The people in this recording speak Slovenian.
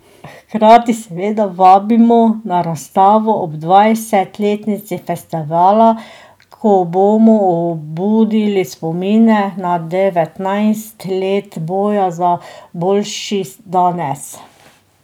Hkrati seveda vabimo na razstavo ob dvajsetletnici festivala, ko bomo obudili spomine na devetnajst let boja za boljši danes.